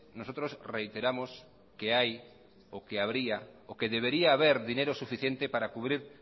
nosotros reiteramos que hay que habría o que debería haber dinero suficiente para cubrir